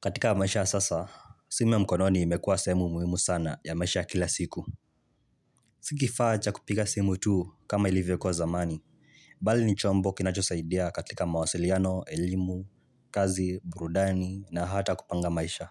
Katika maisha ya sasa, simu ya mkononi imekuwa sehemu muhimu sana ya maisha kila siku. Si kifaa cha kupiga simu tu kama ilivyokuwa zamani, bali ni chombo kinachosaidia katika mawasiliano, elimu, kazi, burudani na hata kupanga maisha.